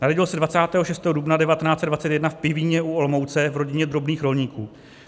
Narodil se 26. dubna 1921 v Pivíně u Olomouce v rodině drobných rolníků.